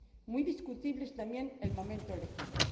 Muy discutible es también el momento elegido.